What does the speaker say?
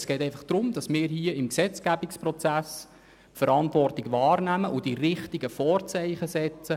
Es geht vielmehr darum, dass wir im Gesetzgebungsprozess Verantwortung wahrnehmen und die richtigen Vorzeichen setzen: